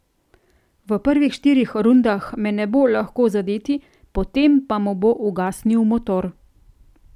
V prvih štirih rundah me ne bo lahko zadeti, potem pa mu bo ugasnil motor.